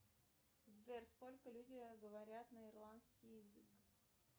сбер сколько люди говорят на ирландский язык